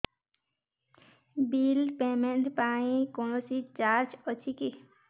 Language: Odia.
ବିଲ୍ ପେମେଣ୍ଟ ପାଇଁ କୌଣସି ଚାର୍ଜ ଅଛି କି